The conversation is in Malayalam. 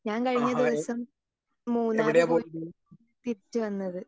സ്പീക്കർ 2 ഞാൻ കഴിഞ്ഞ ദിവസം മൂന്നാർ പോയിട്ട് തിരിച്ചുവന്നത്.